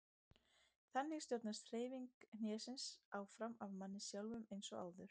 Þannig stjórnast hreyfingar hnésins áfram af manni sjálfum eins og áður.